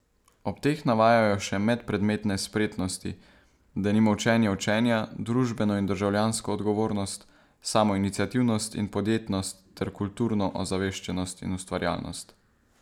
Ob teh navajajo še medpredmetne spretnosti, denimo učenje učenja, družbeno in državljansko odgovornost, samoiniciativnost in podjetnost ter kulturno ozaveščenost in ustvarjalnost.